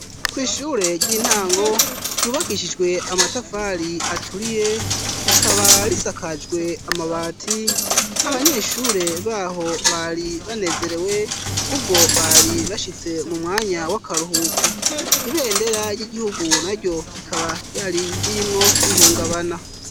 Kwishure ry'intango ryubakishijwe amatafari aturiye rikaba risakajwe amabati abanyeshure baho bari banezerewe kuko bari bashitse mu mwanya w'akaruhuko ibendera ry'igihugu na ryo rikaba yari ririmwo rihungabana.